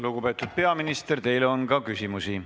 Lugupeetud peaminister, teile on ka küsimusi.